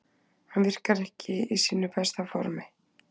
Hann virkar ekki í sínu besta formi.